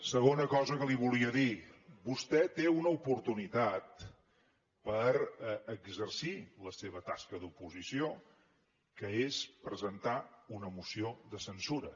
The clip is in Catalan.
segona cosa que li volia dir vostè té una oportunitat per exercir la seva tasca d’oposició que és presentar una moció de censura